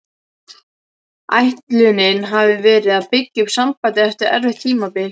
Ætlunin hafði verið að byggja upp sambandið eftir erfitt tímabil.